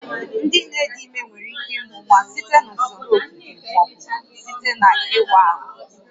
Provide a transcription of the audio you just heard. Ndị nne dị ime nwere ike ịmụ nwa site na usoro okike ma ọ bụ site n'ịwa ahụ